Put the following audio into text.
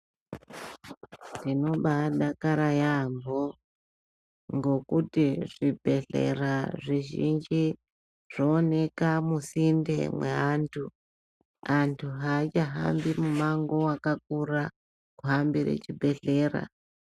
Tinoba adakara yaaampho ngokuti zvibhedhlera zvizhinji zvooneka musinde mweantu, antu aachahambi mumango wakakura kuhambire chibhedhleya.